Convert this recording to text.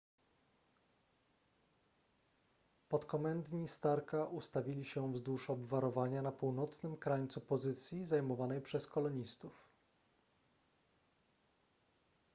podkomendni starka ustawili się wzdłuż obwarowania na północnym krańcu pozycji zajmowanej przez kolonistów